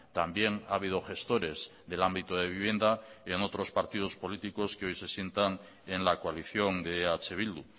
también ha habido gestores del ámbito de vivienda y en otros partidos políticos que hoy se sientan en la coalición de eh bildu